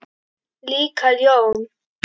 Líka ljón.